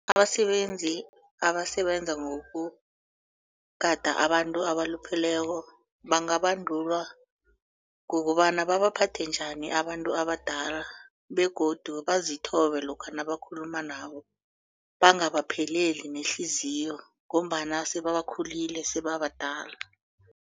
Abasebenzi abasebenza ngokugada abantu abalupheleko bangabandulwa ngokobana babaphathe njani abantu abadala begodu bazithobe lokha nabakhuluma nabo bangabapheleli nehliziyo ngombana sebakhulile sebabadala.